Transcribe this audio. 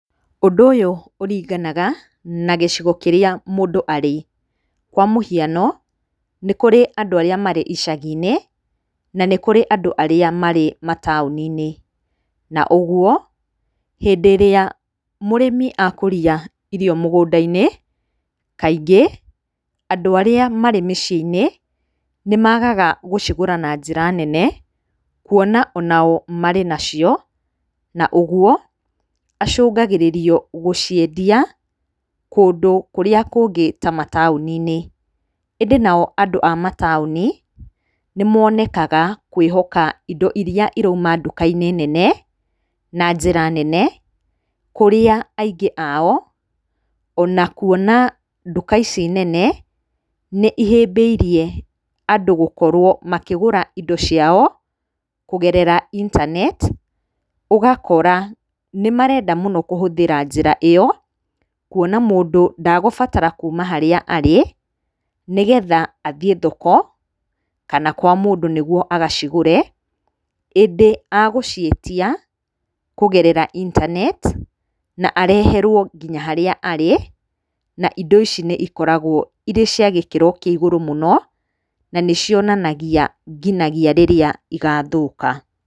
Ũndũ ũyũ ũringanaga na gicigo kĩrĩa mũndũ arĩ. Kwa mũhiano, nĩ kũrĩ andũ arĩa marĩ icagi-inĩ na nĩ kũrĩ andũ arĩa marĩ mataũni-inĩ. Na ũguo hĩndĩ ĩrĩa mũrĩmi akũria irio mũgũndainĩ, kaingĩ andũ arĩa marĩ mĩciĩ-inĩ nĩ maagaga gũcigũra na njĩra nene, kuona o nao marĩ nacio, na ũguo acũngagĩrĩrio gũciendia kũndũ kũrĩa kũngĩ ta mataũni-inĩ. Ĩndĩ nao andũ a mataũni, nĩ monekaga kwĩhoka indo iria cirauma nduka-inĩ nene na njĩra nene, kũrĩa aingĩ ao ona kuona nduka ici nene nĩ ihĩmbĩirie andũ gũkorwo makĩgũra ĩndo ciao kũgerera intaneti. Ũgakora, nĩ marenda mũno kũhũthĩra njĩra ĩyo, kuona mũndũ ndegũbatara kuuma harĩa arĩ nĩ getha athiĩ thoko kana kwa mũndũ niguo agacigũre, ĩndĩ egũciĩtia kũgerera intaneti na areherwo nginya harĩa arĩ, na ĩndo ici nĩ ikoragwo irĩ cia gĩkĩro kĩa igũrũ mũno na nĩ cionanagia nginagia rĩrĩa igathũka.